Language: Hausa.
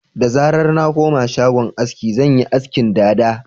Da zarar na koma shagon aski, zan yi askin dada